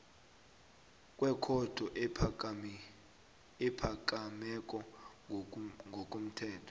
wekhotho ephakemeko ngokomthetho